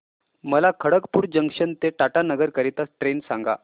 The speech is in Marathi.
मला खडगपुर जंक्शन ते टाटानगर करीता ट्रेन सांगा